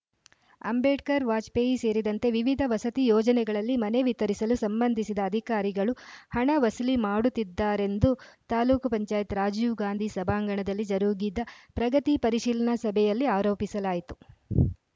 ಅಂಬೇಡ್ಕರ ವಾಜಪೇಯಿ ಸೇರಿದಂತೆ ವಿವಿಧ ವಸತಿ ಯೋಜನೆಗಳಲ್ಲಿ ಮನೆ ವಿತರಿಸಲು ಸಂಬಂಧಿಸಿದ ಅಧಿಕಾರಿಗಳು ಹಣ ವಸೂಲಿ ಮಾಡುತ್ತಿದ್ದಾರೆಂದು ತಾಲೂಕ್ ಪಂಚಾಯತ್ ರಾಜೀವ್ಗಾಂಧಿ ಸಭಾಂಗಣದಲ್ಲಿ ಜರುಗಿದ ಪ್ರಗತಿ ಪರಿಶೀಲನಾ ಸಭೆಯಲ್ಲಿ ಆರೋಪಿಸಲಾಯಿತು